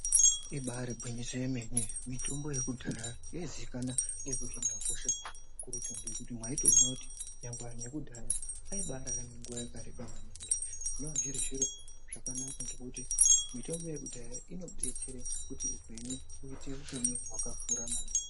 Ibaari gwinyiso remene mitombo yekudhaya yaizikana ngeku hine hosha kuri kutobhuye kuti mwaitoone kuti nyangwe vantu vekudhaya aibararame nguwa yakareba maningi zvinonga zviri zviro zvakanaka ngekuti mitombo yekudhaya inobetsere kuti upenyu huite hwemunhu wakakura maningi.